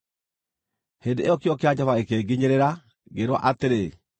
Hĩndĩ ĩyo kiugo kĩa Jehova gĩkĩnginyĩrĩra, ngĩĩrwo atĩrĩ,